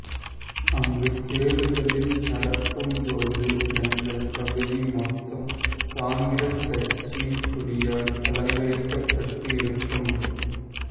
அங்கு தேர்தலில் நடக்கும் போது எங்கள் பகுதி மொத்தம் காங்கிரஸ் கட்சியின் கொடியால் அலங்கரிக்கப்பட்டு இருக்கும்